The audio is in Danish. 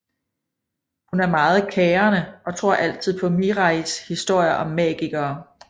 Hun er meget kærende og tror altid på Mirais historier om magikere